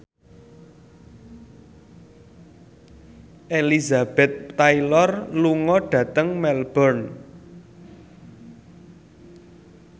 Elizabeth Taylor lunga dhateng Melbourne